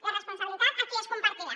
la responsabilitat aquí és compartida